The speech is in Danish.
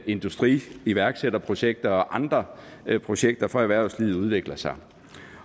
industriiværksætterprojekter og andre projekter for erhvervslivet udvikler sig